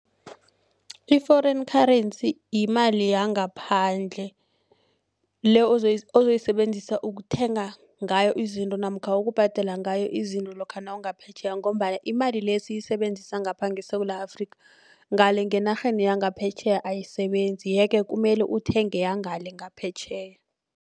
I-foreign currency yimali yangaphandle le ozoyisebenzisa ukuthenga ngayo izinto namkha ukubhadela ngayo izinto lokha nawungaphetjheya ngombana imali le esiyisebenzisa ngapha ngeSewula Afrika ngale ngenarheni yangaphetjheya ayisebenzi yeke kumele uthenge yangale ngaphetjheya.